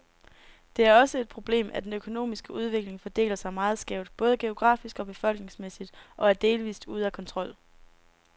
Det er også et problemet, at den økonomiske udvikling fordeler sig meget skævt, både geografisk og befolkningsmæssigt, og er delvist ude af kontrol.